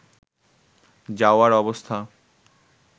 যাওয়ার অবস্থা